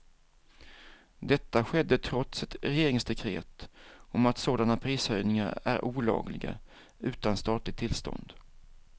Detta skedde trots ett regeringsdekret om att sådana prishöjningar är olagliga utan statligt tillstånd.